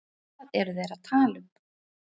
Hvað eru þeir að tala um?